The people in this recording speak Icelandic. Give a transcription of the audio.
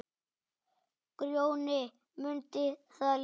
Grjóni mundi það líka.